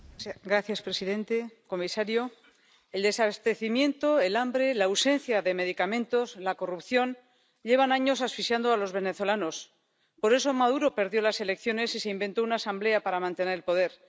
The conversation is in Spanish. Señor presidente, señor comisario, el desabastecimiento, el hambre, la ausencia de medicamentos, la corrupción, llevan años asfixiando a los venezolanos. Por eso Maduro perdió las elecciones y se inventó una Asamblea para mantener el poder.